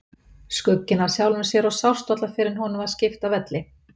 Skugginn af sjálfum sér og sást varla fyrr en honum var skipt af velli.